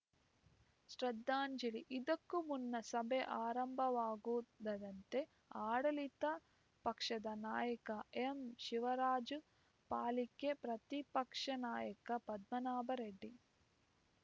ಶ್ರದ್ಧಾಂಜಲಿ ಇದಕ್ಕೂ ಮುನ್ನ ಸಭೆ ಆರಂಭವಾಗುತ್ತಿದ್ದಂತೆ ಆಡಳಿತ ಪಕ್ಷದ ನಾಯಕ ಎಂಶಿವರಾಜು ಪಾಲಿಕೆ ಪ್ರತಿಪಕ್ಷ ನಾಯಕ ಪದ್ಮನಾಭರೆಡ್ಡಿ